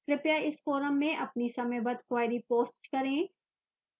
कृपया इस forum में अपनी समयबद्ध queries post करें